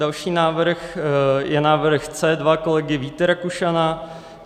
Další návrh je návrh C2 kolegy Víta Rakušana.